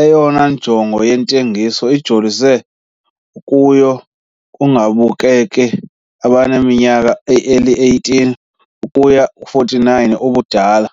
Eyona njongo yentengiso ijolise kuyo ngababukeli abaneminyaka eli-18 ukuya kwengama-49 ubudala.